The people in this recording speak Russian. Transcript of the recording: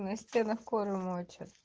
настя на коры мочит